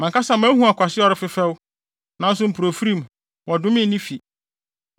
Mʼankasa mahu ɔkwasea a ɔrefefɛw, nanso mpofirim, wɔdomee ne fi.